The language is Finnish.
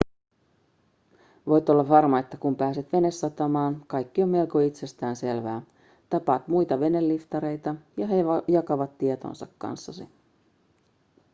voit olla varma että kun pääset venesatamaan kaikki on melko itsestään selvää tapaat muita veneliftareita ja he jakavat tietonsa kanssasi